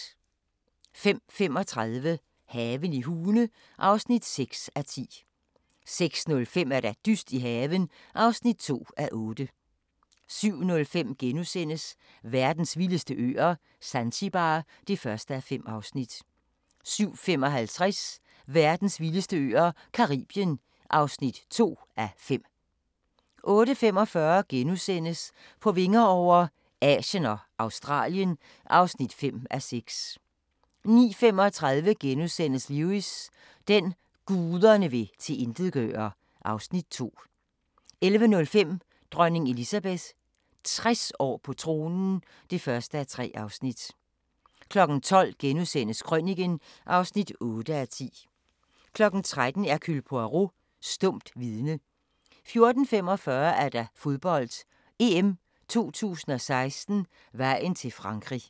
05:35: Haven i Hune (6:10) 06:05: Dyst i haven (2:8) 07:05: Verdens vildeste øer - Zanzibar (1:5)* 07:55: Verdens vildeste øer - Caribien (2:5) 08:45: På vinger over - Asien og Australien (5:6)* 09:35: Lewis: Den, guderne vil tilintetgøre (Afs. 2)* 11:05: Dronning Elizabeth – 60 år på tronen (1:3) 12:00: Krøniken (8:10)* 13:00: Hercule Poirot: Stumt vidne 14:45: Fodbold: EM 2016 - vejen til Frankrig